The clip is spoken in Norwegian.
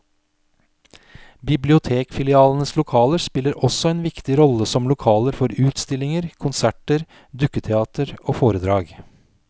Bibliotekfilialenes lokaler spiller også en viktig rolle som lokaler for utstillinger, konserter, dukketeater og foredrag.